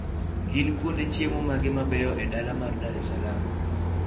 gin kuonde chiemo mage mabeyo e dala mar dar es salaam